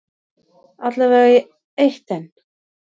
Alla vega í eitt enn.